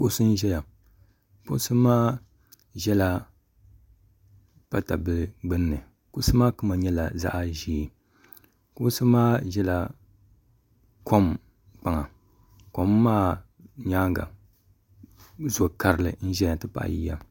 kuɣisi m ʒɛya ŋɔ kuɣisi maa ʒɛla patabil' gbani kuɣisi maa kama nyɛla zaɣ' ʒiɛ kuɣisi maa ʒɛla kom kpaŋa kom maa nyɛŋa zukari n ʒɛya n pahi yiya